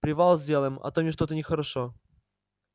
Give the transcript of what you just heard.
привал сделаем а то мне что-то нехорошо